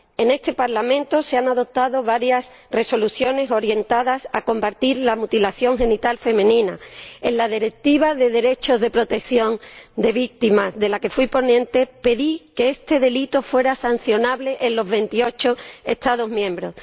En este Parlamento se han aprobado varias Resoluciones orientadas a combatir la mutilación genital femenina. En el marco de la Directiva sobre los derechos, el apoyo y la protección de las víctimas de delitos, de la que fui ponente, pedí que este delito fuera sancionable en los 28 Estados miembros.